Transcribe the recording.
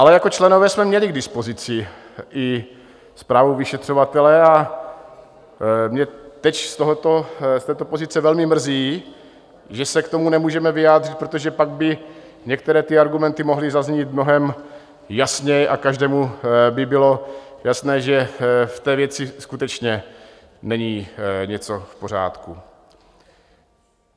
Ale jako členové jsme měli k dispozici i zprávu vyšetřovatele a mě teď z této pozice velmi mrzí, že se k tomu nemůžeme vyjádřit, protože pak by některé ty argumenty mohly zaznít mnohem jasněji a každému by bylo jasné, že v té věci skutečně není něco v pořádku.